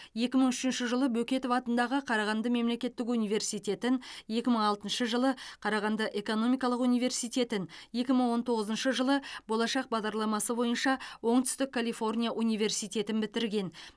екі мың үшінші жылы бөкетов атындағы қарағанды мемлекеттік университетін екі мың алтыншы жылы қарағанды экономикалық университетін екі мың он тоғызыншы жылы болашақ бағдарламасы бойынша оңтүстік калифорния университетін бітірген